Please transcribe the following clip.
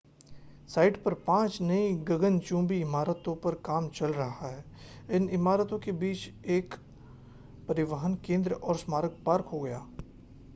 site पर पांच नई गगनचुम्बी इमारतों पर काम चल रहा है इन इमारतों के बीच में एक परिवहन केंद्र और स्मारक पार्क होगा